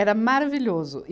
Era maravilhoso.